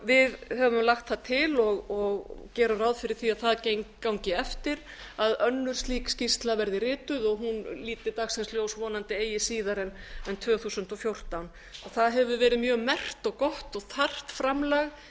við höfum lagt það til og gerum ráð fyrir því að það gangi eftir að önnur slík skýrsla verði rituð og hún líti dagsins ljós vonandi eigi síðar en tvö þúsund og fjórtán það hefur verið mjög merkt og gott og þarft framlag